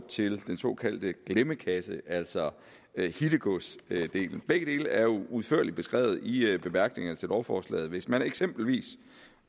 til den såkaldte glemmekasse altså hittegodsdelen begge dele er jo udførligt beskrevet i i bemærkningerne til lovforslaget hvis man eksempelvis